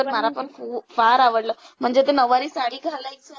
मला पण खु~ फार आवडलं म्हणजे ते नववारी साडी घालायची.